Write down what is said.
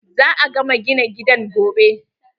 Za a gama gina gidan gobe.